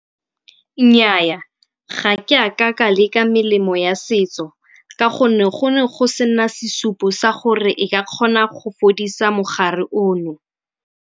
Nnyaa, ga ke a ka ka leka melemo ya setso ka gonne gone go sena sesupo sa gore e ka kgona go fodisa mogare ono.